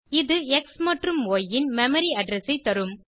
இது எக்ஸ் மற்றும் ய் ன் மெமரி அட்ரெஸ் ஐ தரும்